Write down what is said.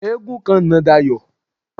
Eégún kan na Dayọ̀.